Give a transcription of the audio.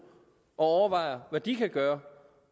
og overvejer hvad de kan gøre